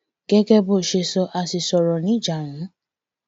gẹgẹ bó ṣe sọ a ṣì sọrọ níjàrùnún